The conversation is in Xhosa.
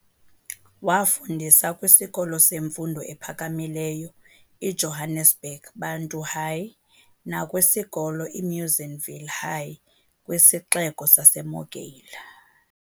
Waafundisa kwisikolo semfundo ephakamileyo i"Johannesburg Bantu High" nakwisikolo i"Munsienville High" kwisixeko saseMogale.